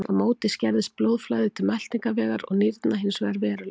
Á móti skerðist blóðflæði til meltingarvegar og nýrna hins vegar verulega.